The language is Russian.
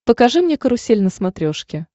покажи мне карусель на смотрешке